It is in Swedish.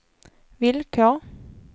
villkor